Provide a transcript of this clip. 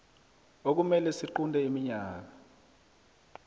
okumele siqunte iminyaka